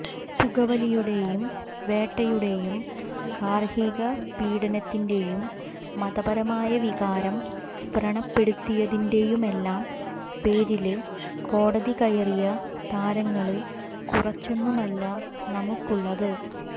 പുകവലിയുടെയും വേട്ടയുടെയും ഗാര്ഹിക പീഡനത്തിന്റെയും മതപരമായവികരം വ്രണപ്പെടുത്തിയതിന്റെയുമെല്ലാം പേരില് കോടതി കയറിയ താരങ്ങള് കുറച്ചൊന്നുമല്ല നമുക്കുള്ളത്